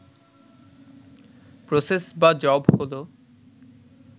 process বা job হল